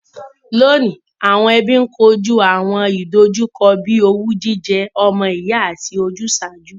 Lóọ̀ní, àwon ẹbí n kojú àwọn ìdojúkọ bíi owú jíjẹ ọmọ ìyá àti ojúsàájú.